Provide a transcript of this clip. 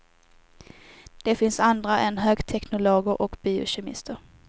Det finns andra än högteknologer och biokemister.